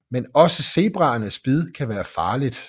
Men også zebraens bid kan være farligt